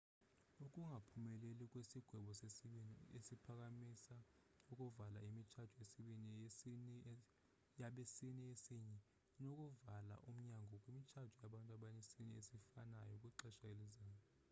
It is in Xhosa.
ukungaphumeleli kwesigwebo sesibini esiphakamisa ukuvala imitshato yabesini esinye inokuvula umnyango kwimitshato yabantu besini esifanayou kwixesha elizayo